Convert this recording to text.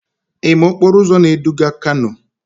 Ị ma okporo ụzọ na-eduga kano?